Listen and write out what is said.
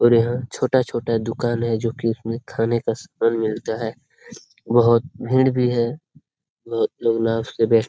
और यहां छोटा-छोटा दुकान है जो कि इसमें खाने का सामान मिलता है। बोहोत भीड़ भी है।